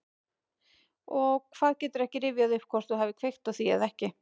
Og hvað, geturðu ekki rifjað upp hvort þú hafir kveikt á því eða ekki?